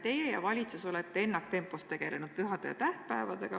Teie ja valitsus olete ennaktempos tegelenud pühade ja tähtpäevadega.